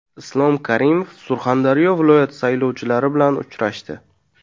Islom Karimov Surxondaryo viloyati saylovchilari bilan uchrashdi.